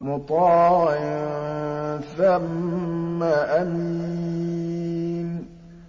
مُّطَاعٍ ثَمَّ أَمِينٍ